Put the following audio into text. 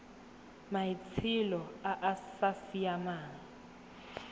maitsholo a a sa siamang